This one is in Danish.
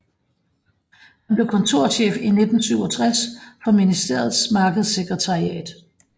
Han blev kontorchef i 1967 for ministeriets markedssekretariat